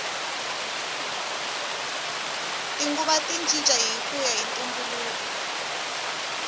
tinguva ti cinca hikuya hi ntumbuluko